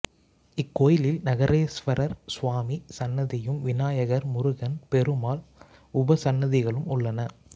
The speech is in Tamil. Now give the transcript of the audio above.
இக்கோயிலில் நகரேஸ்வரர் சுவாமி சன்னதியும் விநாயகர் முருகன் பெருமாள் உபசன்னதிகளும் உள்ளன